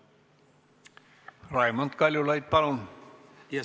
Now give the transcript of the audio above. Raimond Kaljulaid, palun!